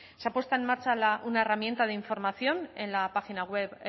se ha puesto en marcha una herramienta de información en la página web